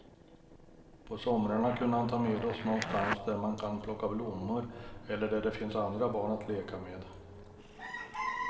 På somrarna kunde han ta med oss någonstans där man kan plocka blommor eller där det finns andra barn att leka med.